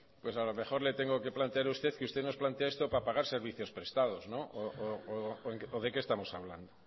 pues a lo mejor le tengo que plantear usted que usted nos plantea esto para pagar servicios prestados o de qué estamos hablando